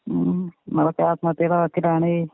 ഉം ഉം നമ്മളൊക്കെ ആത്മഹത്യടെ വക്കിലാണെ.